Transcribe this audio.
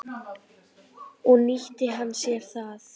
Og nýtti hann sér það.